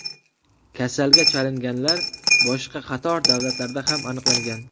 Kasalga chalinganlar boshqa qator davlatlarda ham aniqlangan.